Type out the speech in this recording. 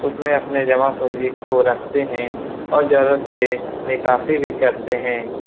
उसमें अपने जमा पूंजी को रखते हैं और जरुरत पे निकासी भी करते हैं।